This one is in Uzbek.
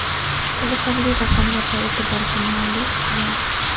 Qiziqarli raqamlar va e’tiborga molik qiyos.